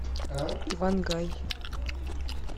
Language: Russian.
иван гай